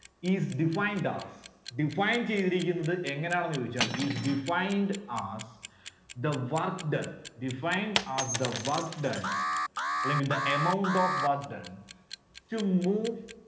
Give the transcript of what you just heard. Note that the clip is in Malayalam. is defined as, define ചെയ്‌തിരിക്കുന്നത്‌ എങ്ങനെയാണെന്ന് ചോദിച്ചാൽ is defined as the work done, defined as the work done അല്ലെങ്കിൽ the amount of work done to move